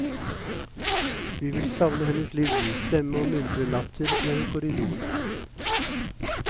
Vi vil savne hennes livlige stemme og muntre latter gjennom korridorene.